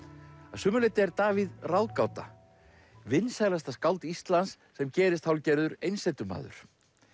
að sumu leyti er Davíð ráðgáta vinsælasta skáld Íslands sem gerist hálfgerður einsetumaður